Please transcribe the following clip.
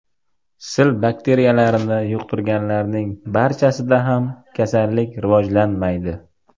Sil bakteriyalarini yuqtirganlarning barchasida ham kasallik rivojlanmaydi.